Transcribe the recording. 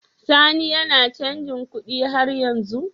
Sani yAna canji kuɗi har yanzu?